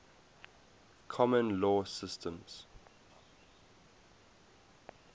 common law systems